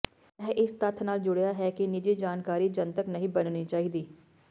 ਇਹ ਇਸ ਤੱਥ ਨਾਲ ਜੁੜਿਆ ਹੈ ਕਿ ਨਿੱਜੀ ਜਾਣਕਾਰੀ ਜਨਤਕ ਨਹੀਂ ਬਣਨੀ ਚਾਹੀਦੀ